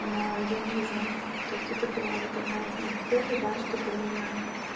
но я вижу то есть это была вот одна из моих целей да чтобы меня